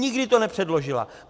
Nikdy to nepředložila.